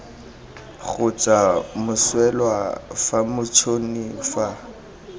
kgotsa moswelwa fa motšhoni fa